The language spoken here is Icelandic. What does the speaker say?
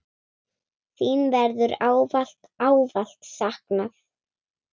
Þín verður ávallt, ávallt saknað.